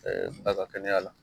baga kɛnɛ la